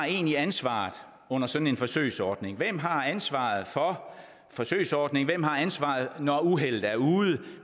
egentlig har ansvaret under sådan en forsøgsordning hvem har ansvaret for forsøgsordningen hvem har ansvaret når uheldet er ude